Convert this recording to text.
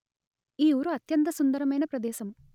ఈ ఊరు అత్యంత సుందరమైన ప్రదేశం